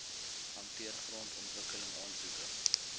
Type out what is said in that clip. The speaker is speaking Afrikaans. hanteer grondontwikkeling aansoeke